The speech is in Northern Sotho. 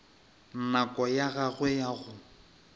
nako ya gagwe ya go